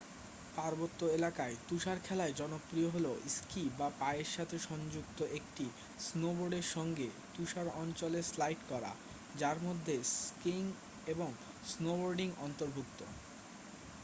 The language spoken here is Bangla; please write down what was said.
পার্বত্য এলাকায় তুষারখেলায় জনপ্রিয় হল স্কি বা পায়ের সাথে সংযুক্ত একটি স্নোবোর্ডের সঙ্গে তুষার অঞ্চলে স্লাইড করা যার মধ্যে স্কিইং এবং স্নোবোর্ডিং অন্তর্ভুক্ত